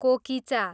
कोकिचा